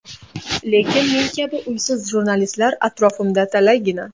Lekin men kabi uysiz jurnalistlar atrofimda talaygina.